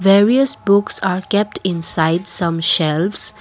various books are kept inside some shelves.